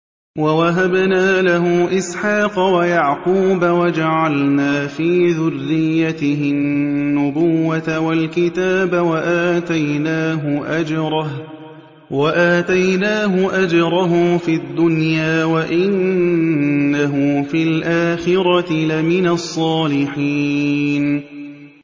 وَوَهَبْنَا لَهُ إِسْحَاقَ وَيَعْقُوبَ وَجَعَلْنَا فِي ذُرِّيَّتِهِ النُّبُوَّةَ وَالْكِتَابَ وَآتَيْنَاهُ أَجْرَهُ فِي الدُّنْيَا ۖ وَإِنَّهُ فِي الْآخِرَةِ لَمِنَ الصَّالِحِينَ